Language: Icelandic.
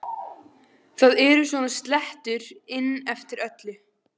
Það eru svona slettur inn eftir öllu.